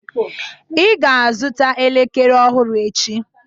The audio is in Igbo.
Ị ga-azụta elekere ọhụrụ echi